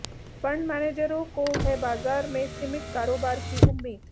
fund मैनेजरों को है बाजार में सीमित कारोबार की उम्मीद